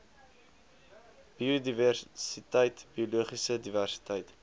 biodiversiteit biologiese diversiteit